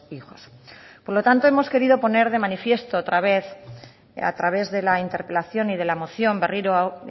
hijos por lo tanto hemos querido poner de manifiesto otra vez a través de la interpelación y de la moción berriro hau